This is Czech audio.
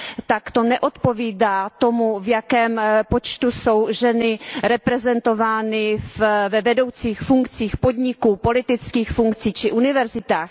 tak to neodpovídá tomu, v jakém počtu jsou ženy reprezentovány ve vedoucích funkcích podniků, v politických funkcích či na univerzitách.